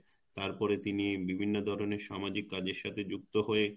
তারপর তিনি বিভিন্ন ধরনের সামাজিক কাজের সাথে যুক্ত হয়ে